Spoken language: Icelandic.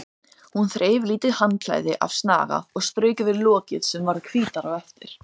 Hún þreif lítið handklæði af snaga og strauk yfir lokið sem varð hvítara á eftir.